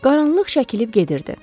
Qaranlıq çəkilib gedirdi.